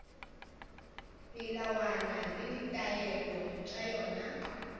melawana le ditaelo tša yona